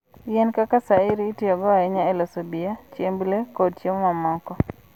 Yien kaka shayiri itiyogo ahinya e loso bia, chiemb le, kod chiemo mamoko.